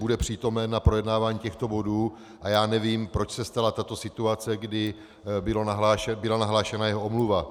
Bude přítomen na projednávání těchto bodů a já nevím, proč se stala tato situace, kdy byla nahlášena jeho omluva.